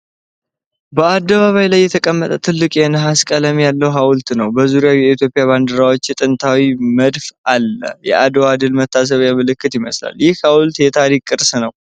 በአደባባይ ላይ የተቀመጠ ትልቅ የነሐስ ቀለም ያለው ሐውልት ነው። በዙሪያው የኢትዮጵያ ባንዲራዎችና ጥንታዊ መድፍ አለ። የአድዋ ድል መታሰቢያ ምልክት ይመስላል። ይህ ሐውልት የታሪክ ቅርስ ነው?